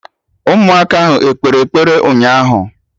Ụmụaka ahụ ekpere ekpere ụnyaahụ?